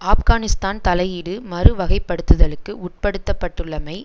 ஆப்கானிஸ்தான் தலையீடு மறு வகைப்படுத்துதலுக்கு உட்படுத்தப்பட்டுள்ளமை